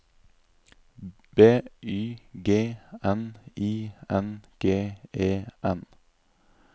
B Y G N I N G E N